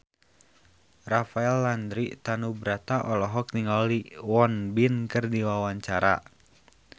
Rafael Landry Tanubrata olohok ningali Won Bin keur diwawancara